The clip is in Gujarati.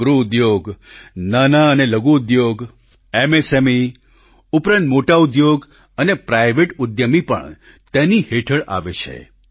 ગૃહ ઉદ્યોગ નાનાં અને લઘુ ઉદ્યોગ એમએસએમઈ ઉપરાંત મોટા ઉદ્યોગ અને પ્રાઈવેટ ઉદ્યમી પણ તેની હેઠળ આવે છે